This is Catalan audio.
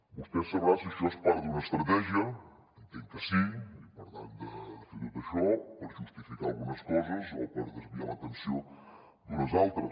vostè deu saber si això és part d’una estratègia entenc que sí i per tant de fer tot això per justificar algunes coses o per desviar l’atenció d’unes altres